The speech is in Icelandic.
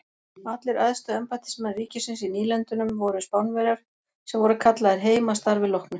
Allir æðstu embættismenn ríkisins í nýlendunum voru Spánverjar sem voru kallaðir heim að starfi loknu.